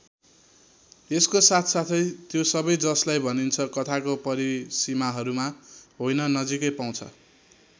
यसको साथ साथै त्यो सबै जसलाई भनिन्छ कथाको परिसीमाहरूमा होइन नजिकै पाउँछ।